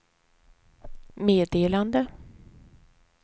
meddelande